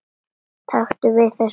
Taktu við þessu.